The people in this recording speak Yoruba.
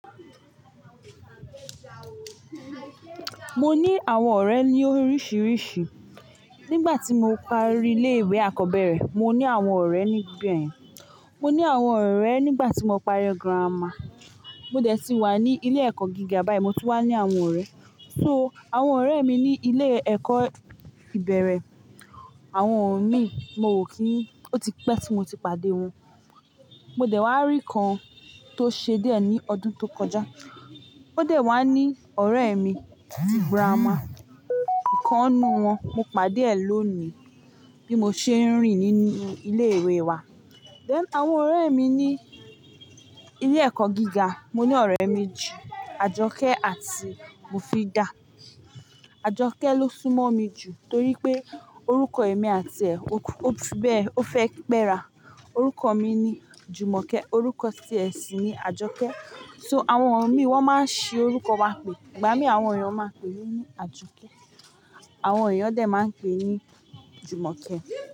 Mo ní àwọn ọ̀rẹ́ ní oríṣiríṣi. Nígbà tí mo parí ilé ìwé àkọ́bẹ̀rẹ̀, mo ní àwọn ọ̀rẹ́ níbẹ̀. Mo ní àwọn ọ̀rẹ́ nígbà tí mo parí grammar. Mo dẹ̀ tí wà ní ilé ẹ̀kọ́ gíga báyìí, mo tún wà ní àwọn ọ̀rẹ́. So àwọn ọ̀rẹ́ mi ní ilé ẹ̀kọ́ ìbẹ̀rẹ̀, àwọn mi, mo n kí n, ó ti pẹ́ tí mo ti pàdé wọn. Mo dẹ̀ wá rí kan tó ṣe díẹ̀ ní ọdún tó kọjá. Ó dẹ̀ wá ní ọ̀rẹ́ mi tí grammar. Kan nínú wọn mo pàdé ẹ̀ lónìí bí mo ṣe ń rìn nínú ilé ìwé wa. Then àwọn ọ̀rẹ́ mi ní ilé ẹ̀kọ́ gíga, mo ní ọ̀rẹ́ méjì, Ajoke àti Mofida. Ajoke ló súnmọ́ mi jù torí pé orúkọ èmi àti ẹ̀, ó ti bẹ́ẹ̀ ó fẹ́ pé ra. Orúkọ mi ni Jumoke, orúkọ tí ẹ̀ sì ni Ajoke. So àwọn mi wọ́n máa ń ṣi orúkọ wa pé, igba mi àwọn èèyàn máa pè mí ni Ajoke, àwọn èèyàn dẹ̀ máa n pè ní Jumoke.